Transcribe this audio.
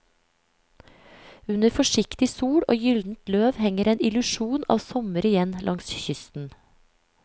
Under forsiktig sol og gyldent løv henger en illusjon av sommer igjen langs kysten.